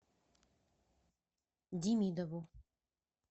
демидову